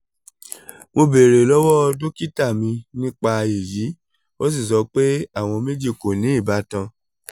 mo beere lọwọ dokita mi nipa eyi o si sọ pe awọn two ko ni ibatan